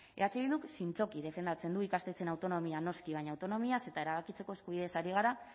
eh bilduk zintzoki defendatzen du ikastetxeen autonomia noski baina autonomiaz eta erabakitzeko eskubideaz ari gara